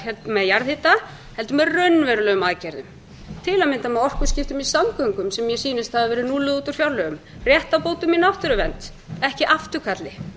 með jarðhita heldur með raunverulegum aðgerðum til að mynda með orkuskiptum í samgöngum sem mér sýnast hafa verið núlluð út úr fjárlögum réttarbótum í náttúruvernd ekki afturkalli